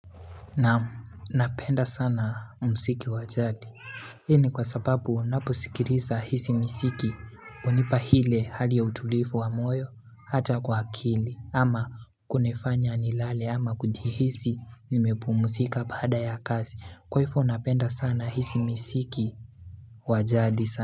Naam napenda sana mziki wa jadi. Hii ni kwa sababu unaposikiliza hizi miziki hunipa ile hali ya utulivu wa moyo hata kwa akili ama kunifanya nilale ama kujihisi nimepumzika baada ya kazi. Kwa hivo napenda sana hizi miziki wa jadi sana.